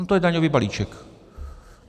- No to je daňový balíček.